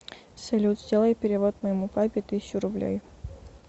салют сделай перевод моему папе тысячу рублей